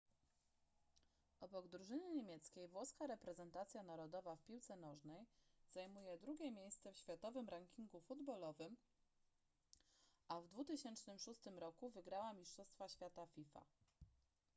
obok drużyny niemieckiej włoska reprezentacja narodowa w piłce nożnej zajmuje drugie miejsce w światowym rankingu futbolowym a w 2006 roku wygrała mistrzostwa świata fifa